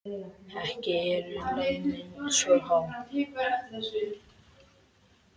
Ekki eru launin svo há.